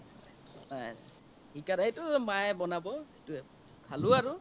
এতিয়া সেইটো মায়ে বনাব খালো আৰু